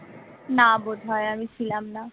না বোধহয় আমি ছিলাম না